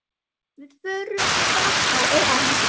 Við förum þá á EM.